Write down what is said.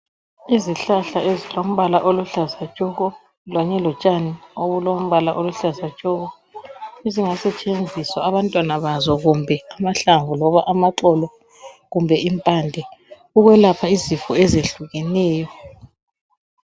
Izihlahla ezilombala oluhlaza tshoko kanye lotshani obulombala oluhlaza tshoko ezingasetshenziswa abantwana bazo kumbe amahlamvu loba amaxolo kumbe impande ukwelapha izifo ezehlukeneyo.